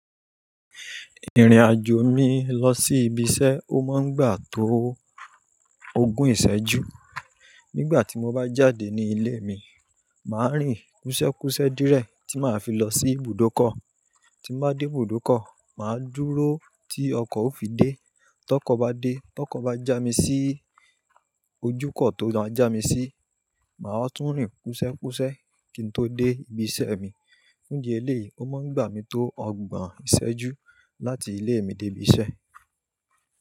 Ìrìnàjò mi lọ sí ibi iṣẹ́ ó máa ń gbà tó ogún ìṣẹ́jú. Nígbà tí mo bá jáde ní ilé mi, màá rìn kúsẹ́kúsẹ́ díẹ̀ tí màá fi lọ sí ibùdókọ̀. Tí n bá dé ibùdókọ̀, màá dúró tí ọkọ̀ ó fi dé. Tọkọ̀ bá dé, tọkọ̀ bá já mi sí ojúkọ̀ tó máa já mi sí, màá tún rìn kúsẹ́kúsẹ́ kí n tó dé ibi iṣẹ́ mi. Fun idi eléyìí, ó máa ń gbà mí tó ọgbọ̀n ìṣẹ́jú láti ilé mi dé ibi iṣẹ́